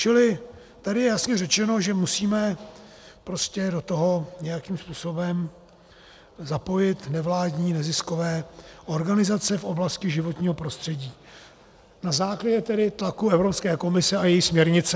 Čili tady je jasně řečeno, že musíme prostě do toho nějakým způsobem zapojit nevládní neziskové organizace v oblasti životního prostředí na základě tedy tlaku Evropské komise a její směrnice.